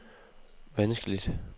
vanskeligt